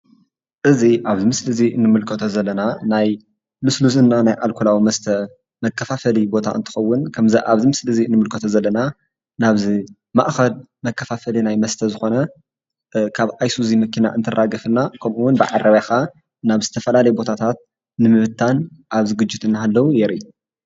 እዚ ኣብዚ ምስሊ እዚ ንምልከቶ ዘለና ናይ ልስሉስ እና ናይ ኣልኮላዊ መስተ መከፋፈሊ ቦታ እንትከዉን ከምዚ ኣብዚ ምስሊ እዚ ንምልከቶ ዘለና ናብዚ ማእከል መከፋፈሊ ናይ መስተ ዝኮነ ካብ ኣይሱዚ መኪና እንትራገፍ እና ከምኡ እዉን በዓረብያ ከዓ ናብ ዝተፈላለየ ቦታታት ንምብታን ኣብ ዝግጅት እናሃለዉ የርኢ።